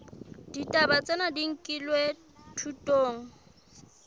ditaba tsena di nkilwe thutong